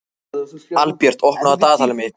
Albjört, opnaðu dagatalið mitt.